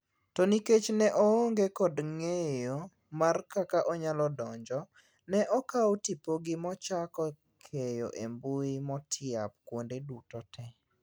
To nikech ne oonge kod ngeyo mar kaka onyalo donjo ,ne okaw tipogi mochako keyo embui motiap kuonde duto te.